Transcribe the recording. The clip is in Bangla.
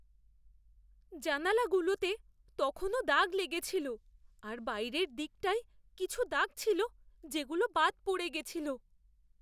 জানালাগুলোতে তখনও দাগ লেগে ছিল আর বাইরের দিকটায় কিছু দাগ ছিল যেগুলো বাদ পড়ে গেছিল।